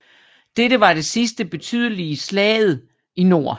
Dette var det sidste betydelige slaget i nord